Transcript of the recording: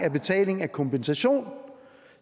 af betaling af kompensation